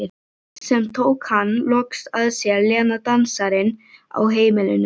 Sem tók hann loks að sér, Lena dansarinn á heimilinu.